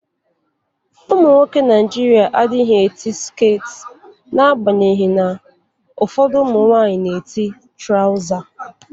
Ụmụnwoke Naijịrịa adịghị eti sket na-agbanyeghị na ụfọdụ ụmụnwaanyị na-eti trawza.